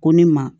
Ko ne ma